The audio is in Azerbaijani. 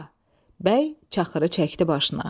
Bəy çaxırı çəkdi başına.